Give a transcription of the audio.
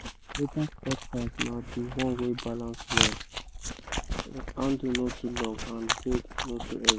better cutlass na the one wey balance well—handle no too long and blade no too heavy